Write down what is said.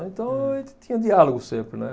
Então, a gente tinha diálogo sempre, né?